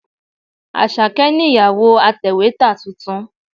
Àṣàkẹ́ nìyàwó atẹ̀wétà tuntun.